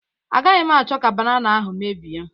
Agaghị m achọ ka banana ahụ mebie